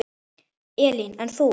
Elín: En þú?